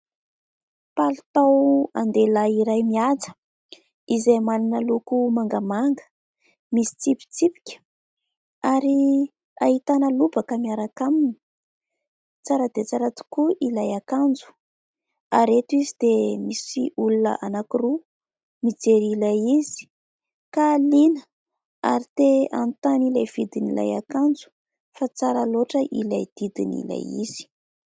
Palitao an-dehilahy iray mihaja izay manana loko mangamanga, misy tsipitsipika ary ahitana lobaka miaraka aminy. Tsara dia tsara tokoa ilay akanjo ary eto izy dia misy olona anankiroa mijery ilay izy ka liana ary te hanontany ilay vidin'ilay akanjo fa tsara loatra ilay didin'ilay izy.